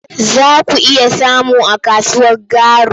Za ku iya samu a kasuwar Garu.